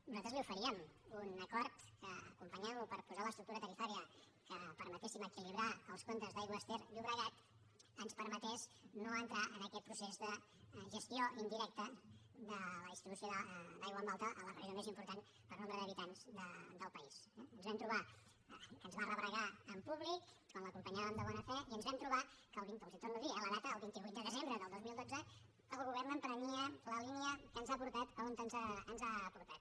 nosaltres li oferíem un acord que acompanyant lo per posar l’estructura tarifària que permetés equilibrar els comptes d’aigües ter llobregat ens permetés no entrar en aquest procés de gestió indirecta de la distribució d’aigua en alta a la regió més important per nombre d’habitants del país eh ens vam trobar que ens va rebregar en públic quan l’acompanyàvem de bona fe i ens vam trobar que els la torno a dir eh la data el vint vuit de desembre del dos mil dotze el govern emprenia la línia que ens ha portat on ens ha portat